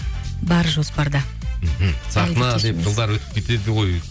бар жоспарда мхм жылдар өтіп кетеді ғой